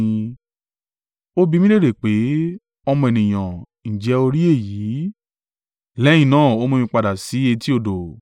Ó bi mí léèrè pé, “Ọmọ ènìyàn, ǹjẹ́ o rí èyí?” Lẹ́yìn náà, ó mú mi padà sí etí odò.